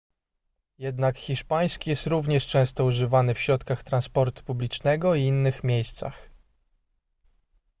jednak hiszpański jest również często używany w środkach transportu publicznego i innych miejscach